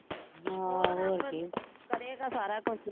ਉਹ ਰੱਬ ਕਰੇਗਾ ਸਾਰਾ ਕੁਜ ਹੀ